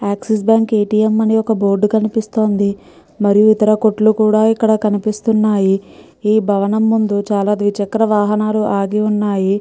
ఎక్సిస్ bank ATM. అని ఒక్క board కనిపిస్తోందిమరియు ఇతర కొట్లు కూడా ఇక్కడ కనిపిస్తున్నాయిఈ భవనం ముందు చాలా ద్విచక్ర వాహనాలు ఆగివున్నాయి.